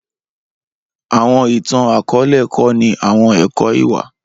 awọn itan-akọọlẹ kọni awọn ẹkọ iwa.